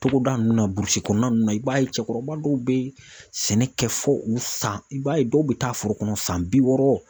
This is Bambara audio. Togoda nunnu na burusi kɔnɔna nunnu na i b'a ye cɛkɔrɔba dɔw bɛ ye sɛnɛ kɛ fo u san i b'a ye dɔw bɛ taa foro kɔnɔ san bi wɔɔrɔ.